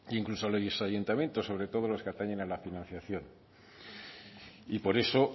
incluso a los ayuntamientos sobre todo en los que atañen a la financiación por eso